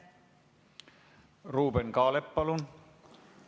Ruuben Kaalep, palun!